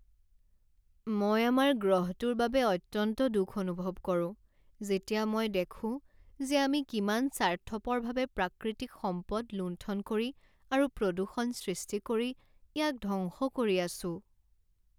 মই আমাৰ গ্ৰহটোৰ বাবে অত্যন্ত দুখ অনুভৱ কৰোঁ যেতিয়া মই দেখোঁ যে আমি কিমান স্বাৰ্থপৰভাৱে প্ৰাকৃতিক সম্পদ লুণ্ঠন কৰি আৰু প্ৰদূষণ সৃষ্টি কৰি ইয়াক ধ্বংস কৰি আছো।